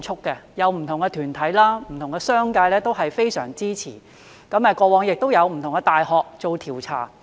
不同的團體、商界也非常支持，過往亦有不同的大學做調查。